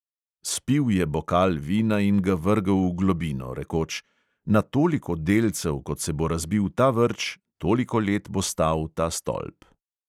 Spil je bokal vina in ga vrgel v globino, rekoč: "na toliko delcev, kot se bo razbil ta vrč, toliko let bo stal ta stolp."